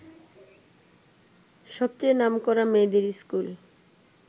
সবচেয়ে নামকরা মেয়েদের ইস্কুল